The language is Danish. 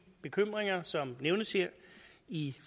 bekymringer som nævnes her i